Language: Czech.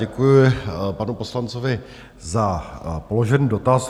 Děkuji panu poslanci za položený dotaz.